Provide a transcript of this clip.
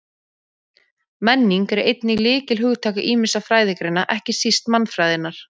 Menning er einnig lykilhugtak ýmissa fræðigreina, ekki síst mannfræðinnar.